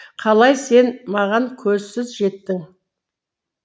қалай сен маған көзсіз жеттің